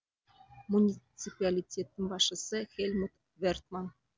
муниципалитеттің басшысы хельмут вертман